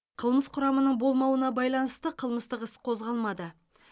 қылмыс құрамының болмауына байланысты қылмыстық іс қозғалмады